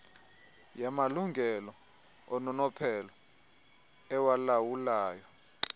yamalungelo ononophelo ewalawulayo